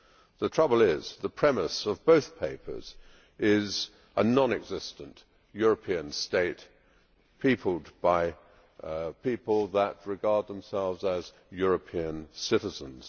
The trouble is that the premise of both papers is a non existent European state peopled by people that regard themselves as European citizens.